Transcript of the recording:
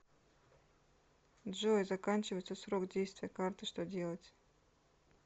джой заканчивается срок действия карты что делать